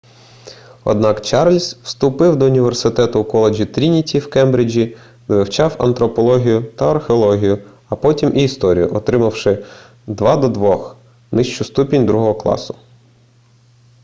однак чарльз вступив до університету в коледжі трініті в кембриджі де вивчав антропологію та археологію а потім і історію отримавши 2:2 нижчий ступінь другого класу